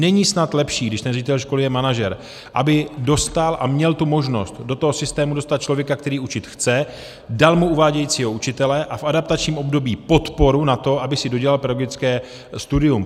Není snad lepší, když ten ředitel školy je manažer, aby dostal a měl tu možnost do toho systému dostat člověka, který učit chce, dal mu uvádějícího učitele a v adaptačním období podporu na to, aby si dodělal pedagogické studium?